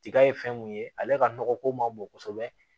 Tiga ye fɛn mun ye ale ka nɔgɔ ko man bon kosɛbɛ